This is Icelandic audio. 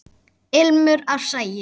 Ilmur af sagi.